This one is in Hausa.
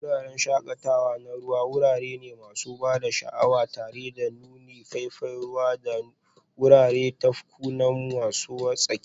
Wuraren shakatawa na ruwa wurare ne masu ban sha'awa tare da nunin faifan ruwa da wuraren tafkuna masu wartsakewa.